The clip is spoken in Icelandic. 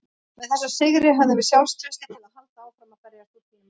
Með þessum sigri höfum við sjálfstraustið til að halda áfram að berjast út tímabilið.